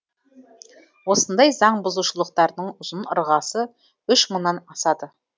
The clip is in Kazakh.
осындай заң бұзушылықтардың ұзын ырғасы үш мыңнан асады